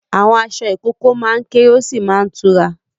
Àwọn aṣọ ìkókó máa ń kéré ó sì máa tura.